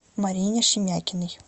марине шемякиной